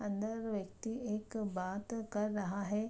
अंदर व्यक्ति एक बात कर रहा है।